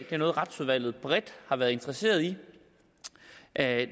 det er noget retsudvalget bredt har været interesseret i at